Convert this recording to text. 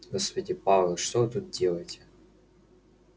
господи пауэлл что вы тут делаете